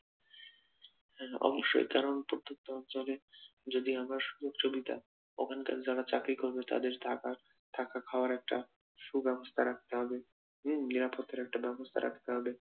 হ্যা অবশ্যই কারণ প্রত্যেকটা অঞ্চলে যদি আমরা সুযোগ সুবিধা ওখানকার যারা চাকরি করবেন তাদের থাকা খাওয়ার একটা সুব্যবস্থা রাখতে হবে হম নিরাপত্তার একটা ব্যবস্থা রাখতে হবে